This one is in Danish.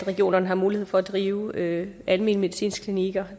regionerne mulighed for at drive alment medicinske klinikker